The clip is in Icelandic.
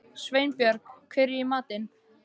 Sveinbjörg, hvað er í matinn?